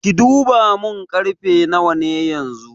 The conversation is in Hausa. Ki duba mun karfe nawa ne yanxu?